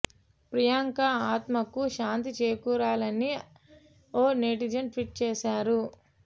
ప్రియాంక ఆత్మకు శాంతి చేకూరాలని అని ఓ నెటిజన్ ట్వీట్ చేశారు